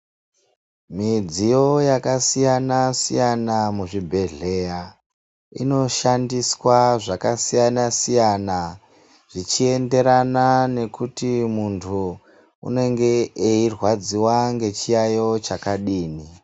Midziyo yakasiyana-siyana muzvibhehleya inoshandiswa zvakasiyana-siyana zvichienderana nekuti muntu unenge eirwadziwa ngechiyaiyo chakadini.